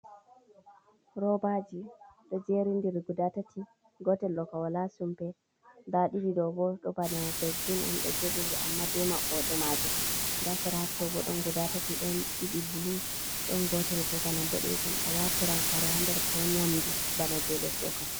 Roobaaji ɗo jeerindiri guda tati, gootel ɗooka wala sumpe, nda ɗiɗi ɗo bo ɗo bana dosbin on, ɗo jeeɗiiri amma be maɓɓooɗe maajum nda sera haa to bo, ɗon guda tati, ɗon ɗiɗi bulu, ɗon gootel bo bana boɗeejum, a waatiran kare haa nder ko nyamndu bana jey les ɗookam.